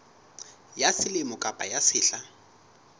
ya selemo kapa ya sehla